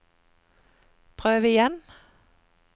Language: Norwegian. prøv igjen